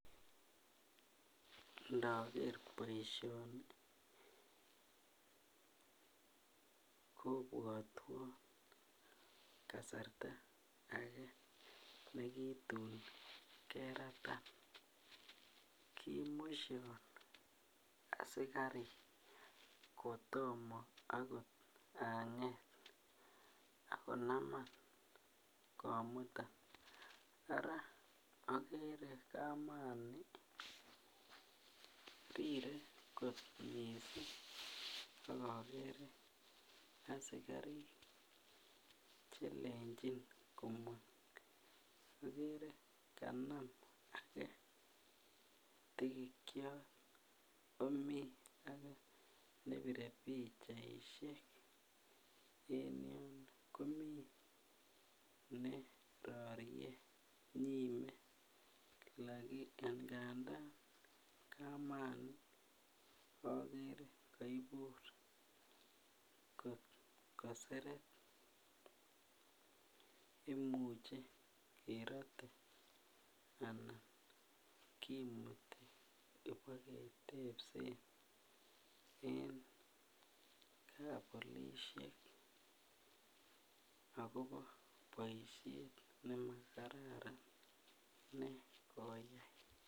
Ndoker boishoni kobwotwon kasarta age nekitun keratan kimushon asikarik kotomo akot anget ak konaman komutan araa okere kamani tire kot missing ak okere asikarik chelenjin komong okere kanam age tikikyok komii age nepire pichaishek en yuno komii nerorie nyime ngandan komani okere koiburi koseret imuche kerotet anan kimuti iboketepse en kapolishek akobo boishet nemakararan nekoyai.